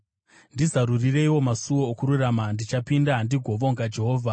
Ndizarurireiwo masuo okururama; ndichapinda ndigovonga Jehovha.